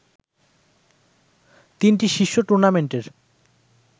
তিনটি শীর্ষ টুর্নামেন্টের